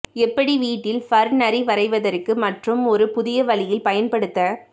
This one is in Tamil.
எப்படி வீட்டில் ஃபர் நரி வரைவதற்கு மற்றும் ஒரு புதிய வழியில் பயன்படுத்த